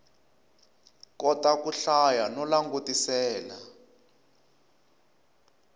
kota ku hlaya no langutisela